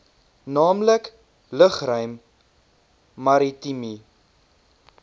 naamlik lugruim maritieme